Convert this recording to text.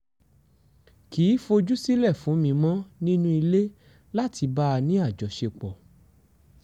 kì í fojú sílẹ̀ fún mi mọ́ nínú ilé láti bá a ní àjọṣepọ̀